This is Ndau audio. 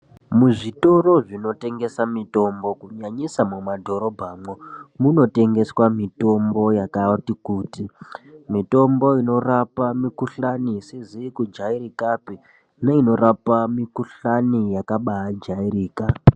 Muzvitoro zvinotengeswa mitombo kunyanyisa mumadhorobhamwo munotengeswa mitombo yakati kuti inorapa mikuhlani isizi kujairikapi neinorapa mikuhlani yakabajairika.